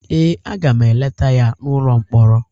ee, a ga m eleta ya n’ụlọ mkpọrọ